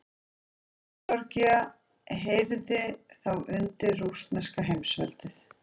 Georgía heyrði þá undir rússneska heimsveldið.